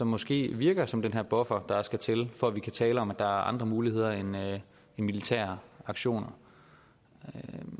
måske virker som den her buffer der skal til for at vi kan tale om at der er andre muligheder end militære aktioner